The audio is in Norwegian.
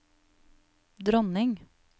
dronning